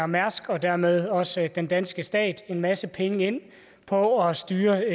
mærsk og dermed også den danske stat en masse penge ind på at styre